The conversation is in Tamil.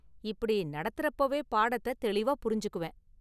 இப்படி, நடத்துறப்போவே பாடத்தை தெளிவாக புரிஞ்சுக்குவேன்.